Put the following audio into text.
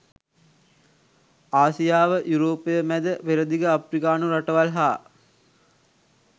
ආසියාව යුරෝපය මැද පෙරදිග අප්‍රිකානු රටවල් හා